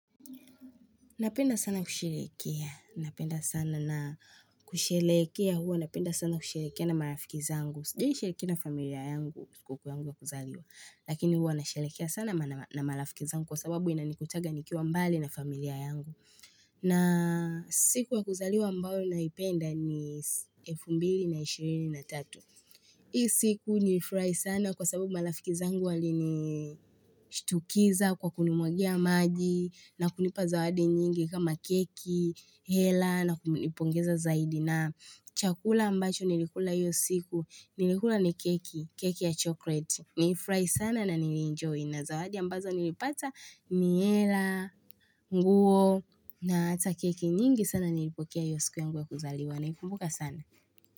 Napenda sana kushelehekea. Napenda sana na kushelehekea huwa. Napenda sana kushelehekea na marafiki zangu. Sijaishelehekea na familia yangu, siku yangu ya kuzaliwa. Lakini huwa nashelehekea sana na marafiki zangu kwa sababu ina nikutaga nikiwa mbali na familia yangu. Na siku ya kuzaliwa ambayo na ipenda ni 2023 Hii siku nilifurahi sana kwa sababu malafiki zangu walini shtukiza kwa kunimwagia maji na kunipa zawadi nyingi kama keki, hela na kunipongeza zaidi na chakula ambacho nilikula iyo siku nilikula ni keki, keki ya chocolate. Nilifurahi sana na nilienjoy na zawadi ambazo nilipata ni hela, nguo na hata keki nyingi sana nilipokea iyo siku yangu ya kuzaliwa na ikumbuka sana.